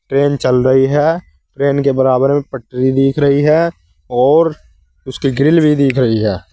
Train चल रही है ट्रेन के बराबर में पटरी दिख रही है और उसकी ग्रिल भी दिख रही है।